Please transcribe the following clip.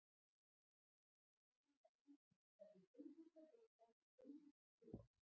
Við þurfum að vinna fyrir hverjum einasta bolta og einasta sigri.